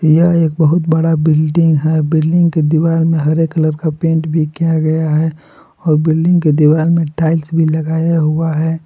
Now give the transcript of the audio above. यह एक बहुत बड़ा बिल्डिंग है बिल्डिंग के दीवार में हरे कलर का पेंट भी किया गया है और बिल्डिंग के दीवार में टाइल्स भी लगाया हुआ है।